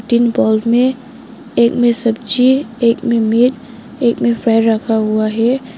तीन बॉउल में एक में सब्जी एक में एक में रखा हुआ है।